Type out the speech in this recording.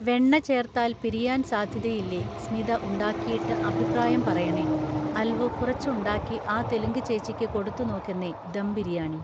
വെണ്ണ ചേർത്താൽ പിരിയാൻ സാധ്യതയില്ലേ സ്മിത ഉണ്ടാക്കിയിട്ട് അഭിപ്രായം പറയണേ അൽവു കുറച്ച് ഉണ്ടാക്കി ആ തെലുങ്ക് ചേച്ചിയ്ക്ക് കൊടുത്തു നോക്കെന്നേ ദം ബിരിയാണി